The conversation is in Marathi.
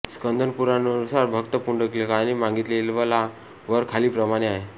स्कन्दपुराणानुसार भक्त पुंडलिकाने मागितलेला वर खालील प्रमाणे आहे